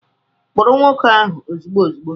Kpụrụ nwoke ahụ ozugbo ozugbo!